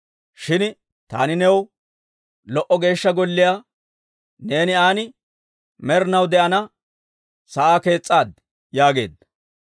Shin taani new lo"o Geeshsha Golliyaa, neeni an med'inaw de'ana sa'aa kees's'aad» yaageedda.